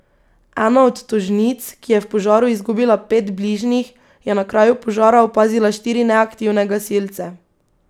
Ena od tožnic, ki je v požaru izgubila pet bližnjih, je na kraju požara opazila štiri neaktivne gasilce.